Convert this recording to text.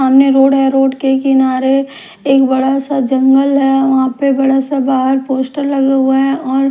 सामने रोड है रोड के किनारे एक बड़ा सा जंगल है वहां पे बड़ा सा बाहर पोस्टर लगा हुआ है और--